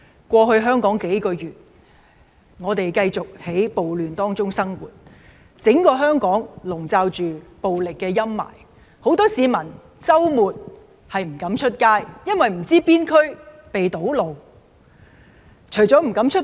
過去數個月以來，我們繼續在暴亂中生活，整個香港籠罩着暴力陰霾，很多市民周末不敢外出，因為不知道哪區會有堵路發生。